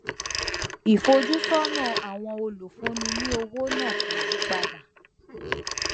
ìfojúsónà àwọn olùfúnni ní owó náà kò yí padà